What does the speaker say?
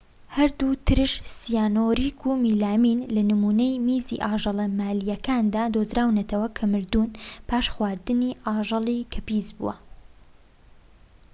هەردوو ترش سیانوریك و مێلامین لە نمونەی میزی ئاژەلە مالیەکاندا دۆزراونەتەوە کە مردوون پاش خواردنی ئاژەڵیی کە پیسبووە